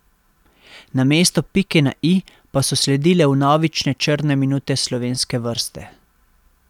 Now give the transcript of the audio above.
Namesto pike na i pa so sledile vnovične črne minute slovenske vrste.